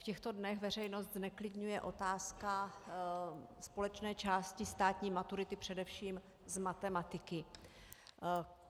V těchto dnech veřejnost zneklidňuje otázka společné části státní maturity, především z matematiky.